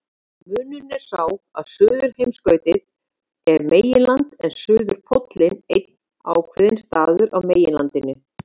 Munurinn er sá að Suðurskautslandið er meginland en suðurpóllinn einn ákveðinn staður á þessu meginlandi.